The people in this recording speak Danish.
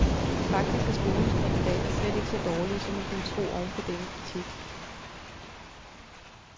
Faktisk er skolens kandidater slet ikke så dårlige, som man kunne tro oven på denne kritik.